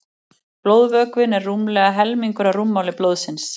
blóðvökvinn er rúmlega helmingur af rúmmáli blóðsins